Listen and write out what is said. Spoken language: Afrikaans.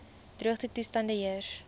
droogte toestande heers